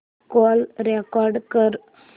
call record कर